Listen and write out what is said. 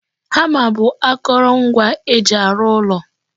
Hama bụ akoro ngwa e ji arụ ụlọ